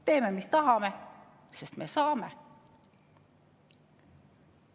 Teeme, mis tahame, sest me saame.